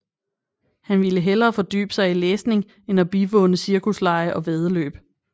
Han ville hellere fordybe sig i læsning end at bivåne cirkuslege og væddeløb